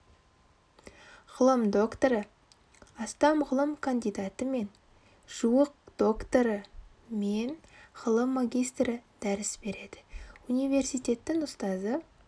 ғылым докторы астам ғылым кандидаты мен жуық докторы мен ғылым магистрі дәріс береді университеттің ұстазы